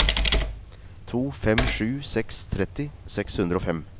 to fem sju seks tretti seks hundre og fem